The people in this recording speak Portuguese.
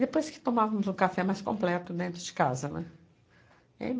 Depois, tomávamos um café mais completo dentro de casa, não é? E aí